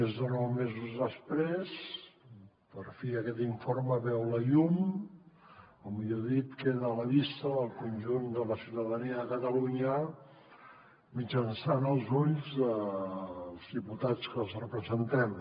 més de nou mesos després per fi aquest informe veu la llum o millor dit queda a la vista del conjunt de la ciutadania de catalunya mitjançant els ulls dels diputats que els representem